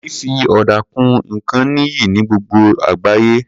Fífi ọ̀dà kun nǹkan níyì ní gbogbo àgbáyé.